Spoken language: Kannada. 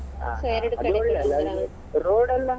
road ಎಲ್ಲ.